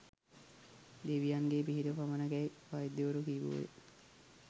දෙවියන්ගේ පිහිට පමණකැයි වෛද්‍යවරු කීවෝ ය.